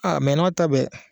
A mɛ o n'a ta bɛɛ